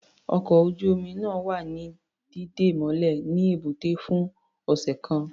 Ọkọ̀ ojú-omi náà wa ní dídè mọ́lẹ̀ ní ẹ̀bútẹ́ fún ọ̀sẹ̀ kan.